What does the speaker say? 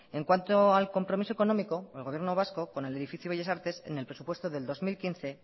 en cuanto al compromiso económico el gobierno vasco con el edificio bellas artes en el presupuesto del dos mil quince